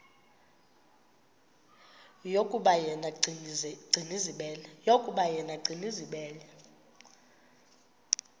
yokuba yena gcinizibele